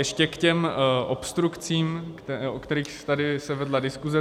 Ještě k těm obstrukcím, o kterých se tady vedla diskuse.